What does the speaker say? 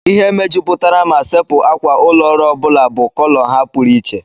Ihe mejupụtara ma sepu ákwà ụlọ ọrụ ọ bụla bụ kọlọ ha pụrụ iche.